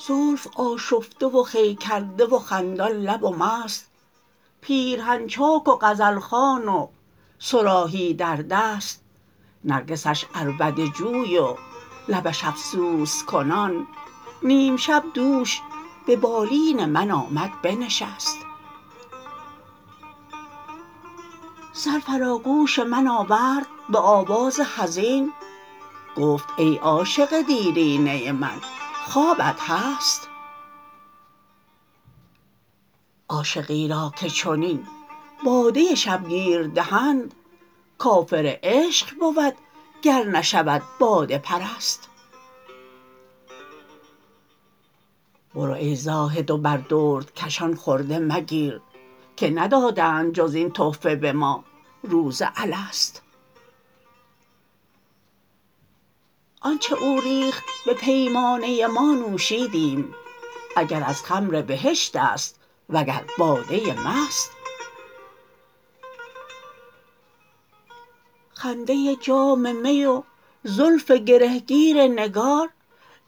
زلف آشفته و خوی کرده و خندان لب و مست پیرهن چاک و غزل خوان و صراحی در دست نرگسش عربده جوی و لبش افسوس کنان نیم شب دوش به بالین من آمد بنشست سر فرا گوش من آورد به آواز حزین گفت ای عاشق دیرینه من خوابت هست عاشقی را که چنین باده شبگیر دهند کافر عشق بود گر نشود باده پرست برو ای زاهد و بر دردکشان خرده مگیر که ندادند جز این تحفه به ما روز الست آن چه او ریخت به پیمانه ما نوشیدیم اگر از خمر بهشت است وگر باده مست خنده جام می و زلف گره گیر نگار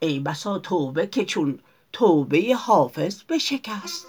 ای بسا توبه که چون توبه حافظ بشکست